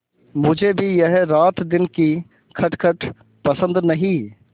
मुझे भी यह रातदिन की खटखट पसंद नहीं